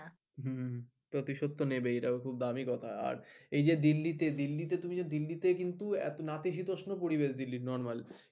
হম প্রতিশোধতো নেবেই। এটাও খুব দামি কথা আর এই যে দিল্লিতে দিল্লিতে তুমি যে দিল্লিতে কিন্তু নাতিশীতোষ্ণ পরিবেশ দিল্লি normally